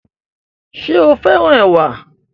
Ṣé o féràn ẹwà